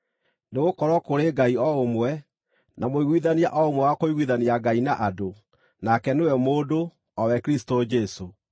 Nĩgũkorwo kũrĩ Ngai o ũmwe, na mũiguithania o ũmwe wa kũiguithania Ngai na andũ, nake nĩwe mũndũ, o we Kristũ Jesũ,